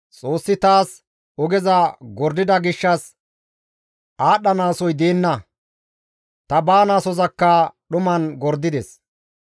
Xoossi taas ogeza gordida gishshas aadhdhanaasoy deenna; ta baanaasozakka dhuman gordides.